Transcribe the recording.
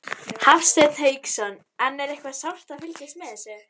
Hafsteinn Hauksson: En er eitthvað sárt að fylgjast með þessu?